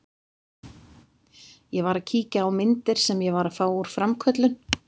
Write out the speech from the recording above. Ég var að kíkja á myndir sem ég var að fá úr framköllun.